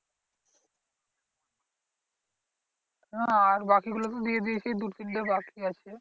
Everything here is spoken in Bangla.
না আর বাকি গুলো তো দিয়ে দিয়েছে দু তিনটে বাকি আছে।